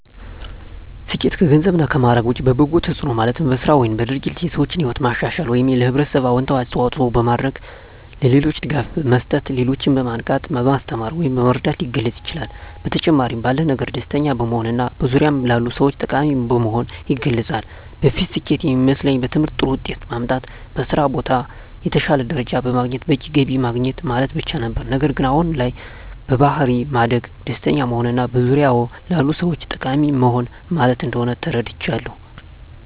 ስኬት ከገንዘብ እና ማዕረግ ውጭ በበጎ ተጽዕኖ ማለትም በሥራ ወይም በድርጊት የሰዎችን ሕይወት ማሻሻል ወይም ለኅብረተሰብ አዎንታዊ አስተዋፅዖ በማድረግ፣ ለሌሎች ድጋፍ መስጠት፣ ሌሎችን በማንቃት፣ በማስተማር ወይም በመርዳት ሊገለፅ ይችላል። በተጨማሪም ባለን ነገር ደስተኛ በመሆንና በዙሪያዎ ላሉ ሰዎች ጠቃሚ በመሆን ይገለፃል። በፊት ስኬት የሚመስለኝ በትምህርት ጥሩ ውጤት ማምጣት፣ በስራ ቦታ የተሻለ ደረጃ በማግኘት በቂ ገቢ ማግኘት ማለት ብቻ ነበር። ነገር ግን አሁን ላይ በባሕሪ ማደግ፣ ደስተኛ መሆንና በዙሪያዎ ላሉ ሰዎች ጠቃሚ መሆን ማለት እንደሆን ተረድቻለሁ።